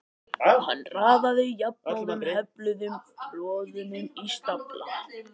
Hann raðaði jafnóðum hefluðum borðunum í stafla.